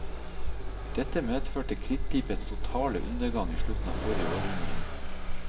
Dette medførte krittpipens totale undergang i slutten av forrige århundre.